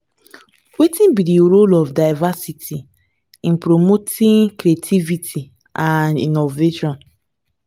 wetin be di role of diversity in promoting creativity and innovation?